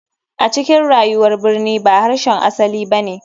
A cikin rayuwar birni ba harshen asali ba ne.